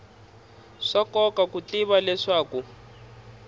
swa nkoka ku tiva leswaku